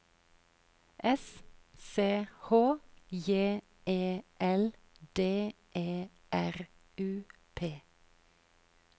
S C H J E L D E R U P